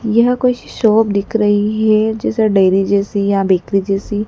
यह कोई सी शॉप दिख रही है जैसे डेयरी जैसी या बेकरी जैसी।